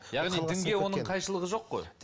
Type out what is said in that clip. яғни дінге оның қайшылығы жоқ қой